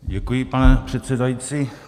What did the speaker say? Děkuji, pane předsedající.